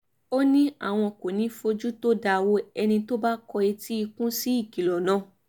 ó ní àwọn kò ní í fojú tó dáa wo ẹni tó bá kọ etí ikún sí ìkìlọ̀ náà